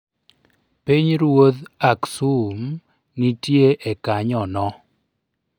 Piny ruoth Aksum nitie e kanyo no.